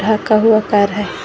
ढका हुआ कार है।